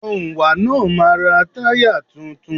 Òǹwà náà máa ra táyà tuntun.